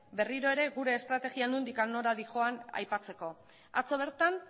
berriro ere gure estrategia nondik nora doan aipatzeko atzo bertan